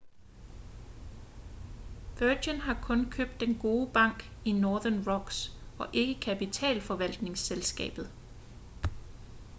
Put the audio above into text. virgin har kun købt den gode bank i northern rocks og ikke kapitalforvaltningsselskabet